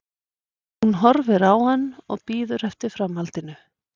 Hún horfir á hann og bíður eftir framhaldinu.